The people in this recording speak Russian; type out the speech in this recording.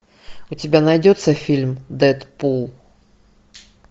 у тебя найдется фильм дедпул